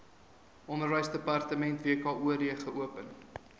onderwysdepartement wkod geopen